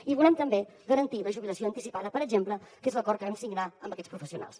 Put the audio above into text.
i volem també garantir la jubilació anticipada per exemple que és l’acord que vam signar amb aquests professionals